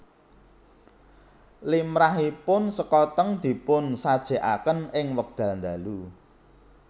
Limrahipun sekoteng dipun sajèkaken ing wekdal dalu